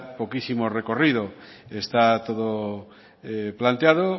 poquísimo recorrido está todo planteado